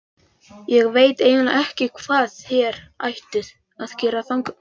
Ég veit eiginlega ekki hvað þér ættuð að gera þangað.